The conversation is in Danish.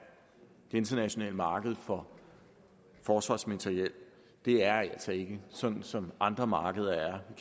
det internationale marked for forsvarsmateriel er altså ikke sådan som andre markeder